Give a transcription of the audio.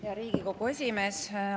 Hea Riigikogu esimees!